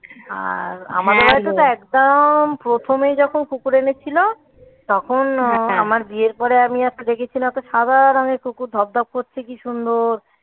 আর আমাদেরটা তো একদম প্রথমেই যখন কুকুর এনেছিল, তখন আমার বিয়ের পরে আমি একটা দেখেছিলাম. একটা সাদা রঙের কুকুর ধব ধব করছে কি সুন্দর.